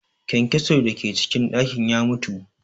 Kyankyason da ke cikin ɗakin ya mutu